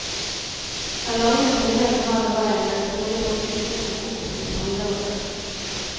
Den lange, tunge, formelle veien, ville trolig bragt utgiftene opp i det femdobbelte.